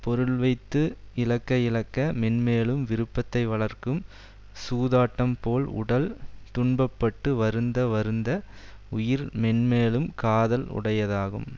பொருள் வைத்து இழக்க இழக்க மேன்மேலும் விருப்பத்தை வளர்க்கும் சூதாட்டம் போல் உடல் துன்ப பட்டு வருந்ந வருந்த உயிர் மென்மேலும் காதல் உடையதாகும்